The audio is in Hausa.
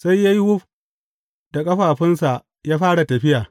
Sai ya yi wuf da ƙafafunsa ya fara tafiya.